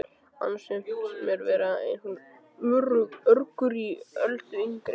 Annars finnst mér vera einhver urgur í Öldu yngri.